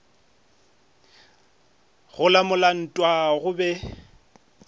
go lamola ntwa go be